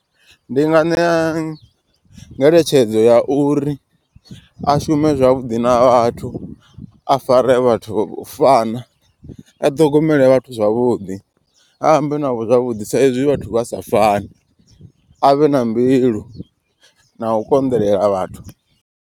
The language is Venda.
Ndi nga ṋea ngeletshedzo ya uri a shume zwavhuḓi na vhathu a fare vhathu u fana. A ṱhogomele vhathu zwavhuḓi a ambe navho zwavhuḓi sa izwi vhathu vha sa fani. A vhe na mbilu na u konḓelela vhathu.